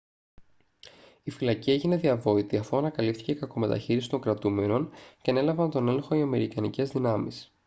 η φυλακή έγινε διαβόητη αφού ανακαλύφθηκε η κακομεταχείριση των κρατουμένων και ανέλαβαν τον έλεγχο οι αμερικανικές δυνάμεις